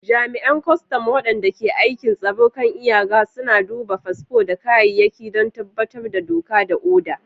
Jami’an kwastam wadanda ke aikin tsaron kan iyaka suna duba fasfo da kayayyaki don tabbatar da doka da oda.